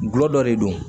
Gulɔ dɔ de don